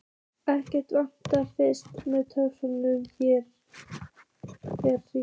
Ekkert vatn fannst, en töluverður hiti.